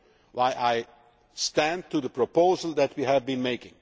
is also why I stand by the proposal that we have